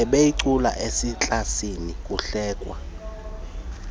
ebeyicula eklasini bekuhlekwa